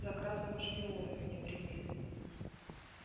за красного шпиона меня приняли